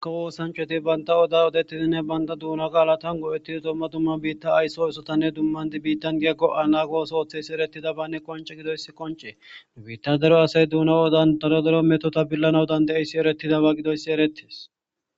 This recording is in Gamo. Kawo woosanchoti baynta oda odettidinne banda duuna qaala tango ettido domma dumma biitta aysso issotanne dummandi biittan geggo anagoso ooththeysi eretida banne qonce gidoyss qoncee biitta dero asay duna odan darodero metota billana udan de7yssi eretidaba gidoyssi erettes